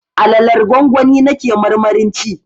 Alalar gwangwani na ke marmarin ci